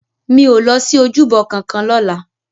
Mi ó lòsi ójúbò kànkàn lòlá